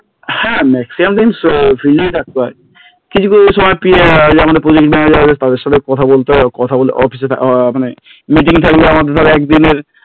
হ্যাঁ Maximum দিন field এই থাকতে হয়, কিছু কিছু সময় PA আমাদের Project manejer তাদের সাথে কথা বলতে হয় কথা বলতে office অফিসে মানে meeting থাকলে আমার ধর একদিনের